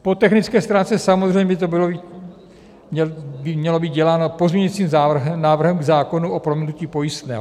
Po technické stránce samozřejmě by to mělo být děláno pozměňovacím návrhem k zákonu o prominutí pojistného.